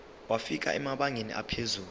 wafika emabangeni aphezulu